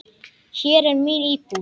Hér er mín íbúð!